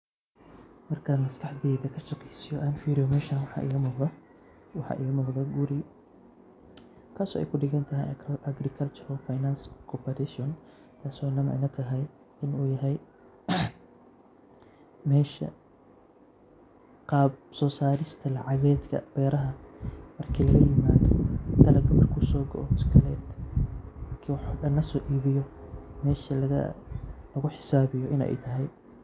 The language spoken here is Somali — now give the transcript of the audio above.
Markan maskaxdeyda kashaqeysiyo oo an firiyo meshan waxa iga muqdo waa guri kaaso ay kudhigatahay Agricultural finance cooperation kasoo ay ilatahay inu yahay mesha qab soo sarista lacagedka beeraha marka laga yimaado dalaga marku soo go'o mise markii woxo dhan laso gudbiyo mesha lugu xisaabiyo inay tahay